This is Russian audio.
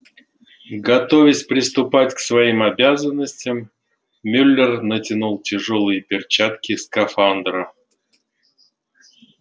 готовясь приступать к своим обязанностям мюллер натянул тяжёлые перчатки скафандра